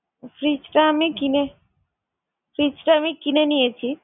fridge টা আমি কিনে~ fridge টা আমি কিনে নিয়েছি।